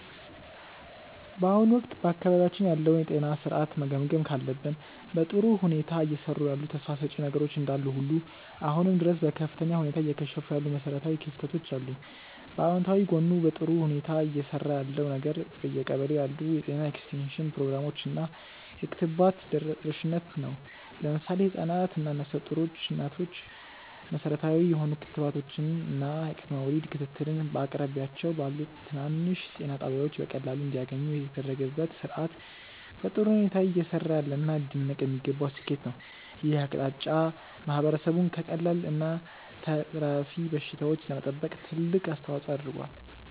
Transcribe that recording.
በአሁኑ ወቅት በአካባቢያችን ያለውን የጤና ሥርዓት መገምገም ካለብን፣ በጥሩ ሁኔታ እየሰሩ ያሉ ተስፋ ሰጪ ነገሮች እንዳሉ ሁሉ አሁንም ድረስ በከፍተኛ ሁኔታ እየከሸፉ ያሉ መሠረታዊ ክፍተቶች አሉ። በአዎንታዊ ጎኑ በጥሩ ሁኔታ እየሰራ ያለው ነገር በየቀበሌው ያሉ የጤና ኤክስቴንሽን ፕሮግራሞች እና የክትባት ተደራሽነት ነው። ለምሳሌ ህፃናት እና ነፍሰ ጡር እናቶች መሠረታዊ የሆኑ ክትባቶችን እና የቅድመ ወሊድ ክትትልን በየአቅራቢያቸው ባሉ ትናንሽ ጤና ጣቢያዎች በቀላሉ እንዲያገኙ የተደረገበት ሥርዓት በጥሩ ሁኔታ እየሰራ ያለና ሊደነቅ የሚገባው ስኬት ነው። ይህ አቅጣጫ ማህበረሰቡን ከቀላል እና ከተላላፊ በሽታዎች ለመጠበቅ ትልቅ አስተዋፅዖ አድርጓል።